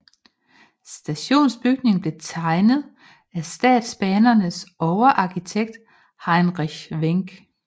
Stationsbygningen blev tegnet af Statsbanernes overarkitekt Heinrich Wenck